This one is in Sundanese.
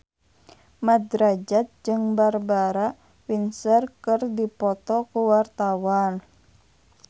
Mat Drajat jeung Barbara Windsor keur dipoto ku wartawan